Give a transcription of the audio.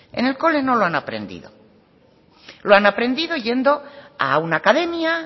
en el cole no lo han aprendido lo han aprendido yendo a una academia